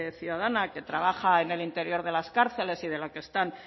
ciudadana que trabaja en el interior de las cárceles y de la que